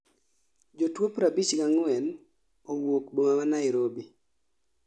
jotuo 54 owuok boma ma Nairobi.